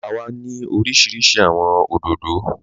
Ọ̀gbà wà ni orísíríṣí awọn odòdó.